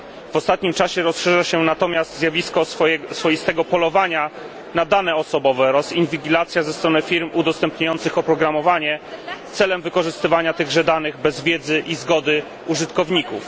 W ostatnim czasie rozszerza się natomiast zjawisko swoistego polowania na dane osobowe oraz inwigilacja ze strony firm udostępniających oprogramowanie celem wykorzystywania tychże danych bez wiedzy i zgody użytkowników.